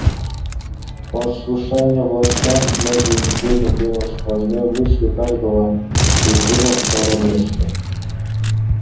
послушание властям многие недели было сквозной мыслью каждого призыва в королевстве